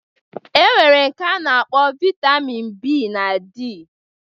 E nwere nke a na-akpọ Vaitamin B na D